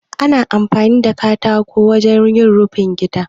Ana amfani da katako wajen yin rufin gida.